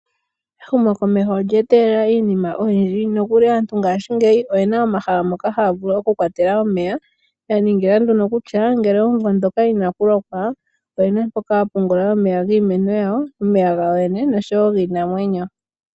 Ehumokomeho olya etelela iinima oyindji nokuli aantu ngashingeyi oyena omahala moka haya vulu oku kwatela omeya. Yaningila nduno kutya ngele omuvo ndhoka inakulokwa oyena mpoka yapungula omeya giimeno yawo, omeya gawo yoyene noshowo giinamwenyo.